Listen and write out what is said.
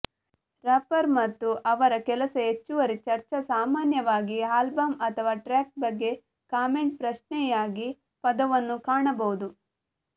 wrapper ಮತ್ತು ಅವರ ಕೆಲಸ ಹೆಚ್ಚುವರಿ ಚರ್ಚಾ ಸಾಮಾನ್ಯವಾಗಿ ಆಲ್ಬಮ್ ಅಥವಾ ಟ್ರ್ಯಾಕ್ ಬಗ್ಗೆ ಕಾಮೆಂಟ್ ಪ್ರಶ್ನೆಯಾಗಿ ಪದವನ್ನು ಕಾಣಬಹುದು